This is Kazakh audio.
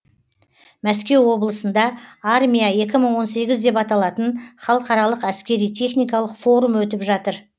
мәскеу облысында армия екі мың он сегіз деп аталатын халықаралық әскери техникалық форум өтіп жатыр